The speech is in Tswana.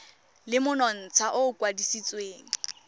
le monontsha o o kwadisitsweng